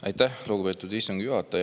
Aitäh, lugupeetud istungi juhataja!